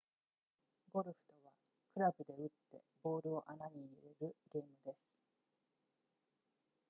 ゴルフとはクラブで打ってボールを穴に入れるゲームです